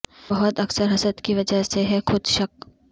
بہت اکثر حسد کی وجہ سے ہے خود شک